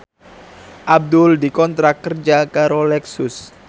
Abdul dikontrak kerja karo Lexus